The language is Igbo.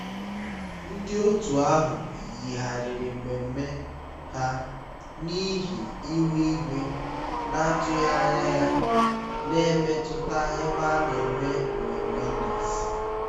ndị otu ahụ yigharịrị mmemme ha n'ihi ihu igwe na-atụghị anya ya na-emetụta ebe a na-eme mmemme n'èzí